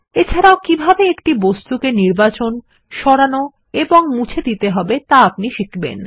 এছাড়াও কীভাবে একটি বস্তু কে নির্বাচন করতে সরাতে এবং মুছে দিতে হয় তা আপনি শিখবেন